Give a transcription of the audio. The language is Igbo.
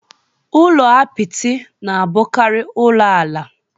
Ụlọ apịtị na-abụkari ulo ala